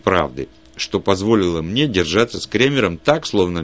правды что позволило мне держаться с кремером так словно